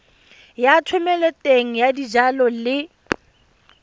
ya thomeloteng ya dijalo le